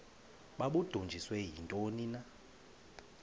babudunjiswe yintoni na